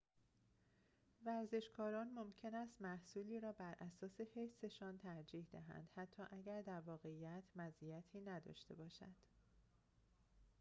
ورزشکاران ممکن است محصولی را براساس حسشان ترجیح دهند حتی اگر در واقعیت مزیتی نداشته باشد